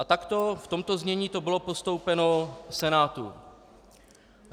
A takto, v tomto znění, to bylo postoupeno Senátu.